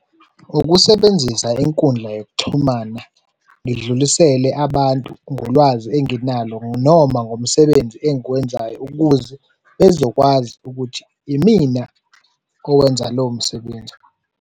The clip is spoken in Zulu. Ukusebenzisa inkundla yokuxhumana, ngidlulisele abantu ngolwazi enginalo noma ngomsebenzi engiwenzayo ukuze bezokwazi ukuthi imina owenza lowo msebenzi.